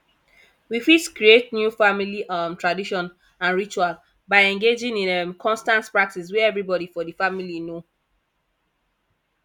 we fit create new family um tradition and ritual by engagin in um constant practice wey everybody for di family know